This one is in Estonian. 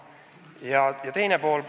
Ja on ka teine pool.